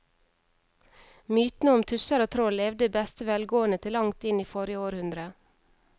Mytene om tusser og troll levde i beste velgående til langt inn i forrige århundre.